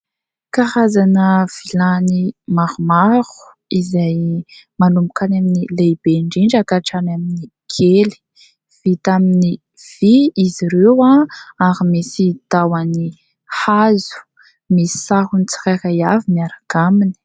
Karazana vilany maromaro izay manomboka any amin'ny lehibe indrindra ka hatrany amin'ny kely. Vita amin'ny vy izy ireo ary misy tahony hazo, misy sarony tsirairay avy miaraka aminy.